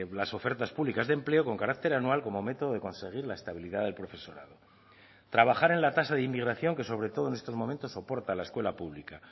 las ofertas públicas de empleo con carácter anual como método de conseguir la estabilidad del profesorado trabajar en la tasa de inmigración que sobre todo en estos momentos soporta la escuela pública